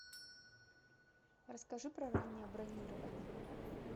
расскажи про раннее бронирование